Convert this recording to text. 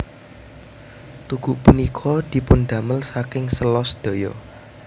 Tugu punika dipundamel saking sèla sedaya